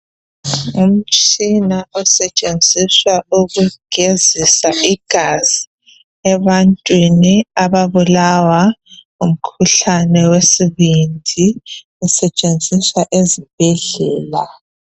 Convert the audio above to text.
Umtshina usetshenziswa ukugezisa igazi ebantwini ababulawa ngumkhuhlane wesibindi usetshenziswa ezibhedlela.